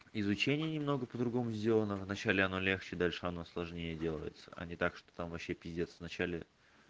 изучение немного по-другому сделано в начале оно легче дальше оно сложнее делается а не так что там вообще пиздец в начале